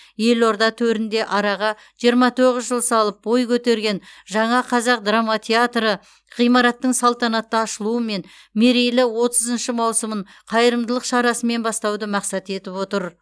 елорда төрінде араға жиырма тоғыз жыл салып бой көтерген жаңа қазақ драма театры ғимараттың салтанатты ашылуы мен мерейлі отызыншы маусымын қайырымдылық шарасымен бастауды мақсат етіп отыр